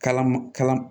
Kala ma kalan